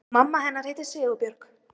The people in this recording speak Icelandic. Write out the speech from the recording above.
Og mamma hennar heitir Sigurbjörg?